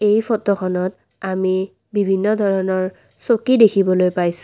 এই ফটোখনত আমি বিভিন্ন ধৰণৰ চকী দেখিবলৈ পাইছোঁ।